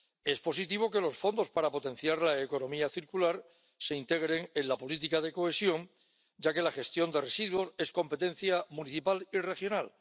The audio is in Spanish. Es positivo que los fondos para potenciar la economía circular se integren en la política de cohesión, ya que la gestión de residuos es competencia municipal y regional.